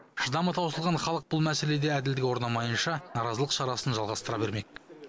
шыдамы таусылған халық бұл мәселеде әділдік орнамайынша наразылық шарасын жалғастыра бермек